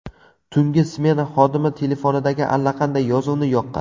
Tungi smena xodimi telefonidagi allaqanday yozuvni yoqqan.